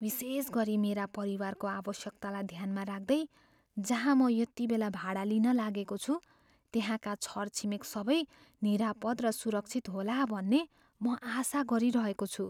विशेषगरी मेरा परिवारको आवश्यकतालाई ध्यानमा राख्दै जहाँ म यतिबेला भाडा लिन लागेको छु, त्यसका छरछिमेक सबै निरापद र सुरक्षित होला भन्ने म आशा गरिरहेको छु।